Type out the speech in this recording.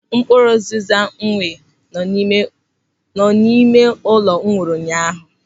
Mkpụrụ ụziza nọ n'ime ụlọ gwụrụ ụnyaahụ.